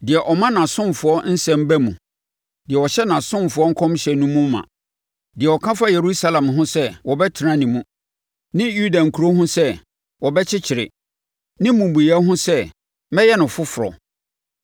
deɛ ɔma nʼasomfoɔ nsɛm ba mu deɛ ɔhyɛ nʼasomafoɔ nkɔmhyɛ no mu ma, “deɛ ɔka fa Yerusalem ho sɛ, ‘Wɔbɛtena ne mu,’ ne Yuda nkuro ho sɛ, ‘Wɔbɛkyekyere,’ ne mmubuiɛ ho sɛ, ‘Mɛyɛ no foforɔ,’